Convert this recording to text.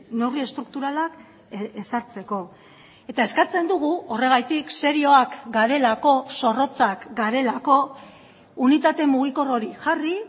neurri estrukturalak ezartzeko eta eskatzen dugu horregatik serioak garelako zorrotzak garelako unitate mugikor hori jarri